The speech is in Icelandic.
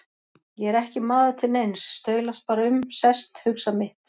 Ég er ekki maður til neins, staulast bara um, sest, hugsa mitt.